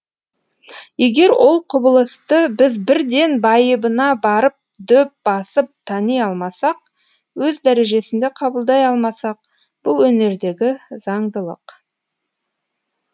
егер ол құбылысты біз бірден байыбына барып дөп басып тани алмасақ өз дәрежесінде қабылдай алмасақ бұл өнердегі заңдылық